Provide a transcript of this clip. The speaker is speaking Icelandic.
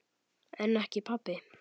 En ekki pabbi.